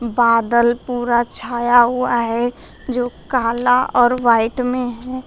बादला पूरा छाया हुआ है जो काला और व्हाइट में है।